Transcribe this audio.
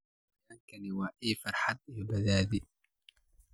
Xayawaankani waa il farxad iyo badhaadhe.